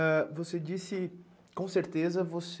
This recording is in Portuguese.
E ah... Você disse, com certeza, você...